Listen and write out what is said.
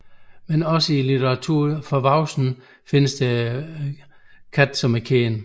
Men også i litteratur til voksne findes der kendte katte